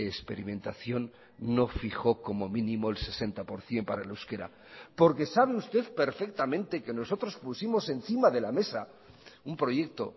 experimentación no fijó como mínimo el sesenta por ciento para el euskera porque sabe usted perfectamente que nosotros pusimos encima de la mesa un proyecto